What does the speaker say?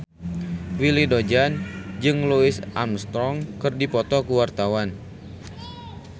Willy Dozan jeung Louis Armstrong keur dipoto ku wartawan